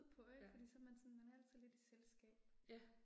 Ja. Ja